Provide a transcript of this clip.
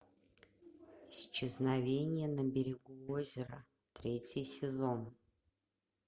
исчезновение на берегу озера третий сезон